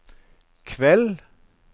kveld